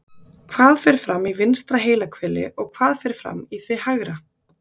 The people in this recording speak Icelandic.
Hvað fer fram í vinstra heilahveli og hvað fer fram í því hægra?